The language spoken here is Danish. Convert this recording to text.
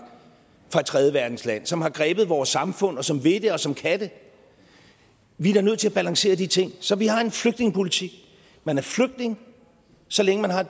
fra et tredjeverdensland som har grebet vores samfund og som vil det og som kan det vi er da nødt til at balancere de ting så vi har en flygtningepolitik man er flygtning så længe man har